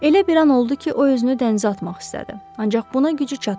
Elə bir an oldu ki, o özünü dənizə atmaq istədi, ancaq buna gücü çatmadı.